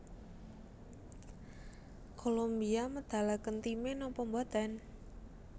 Kolombia medalaken time nopo mboten?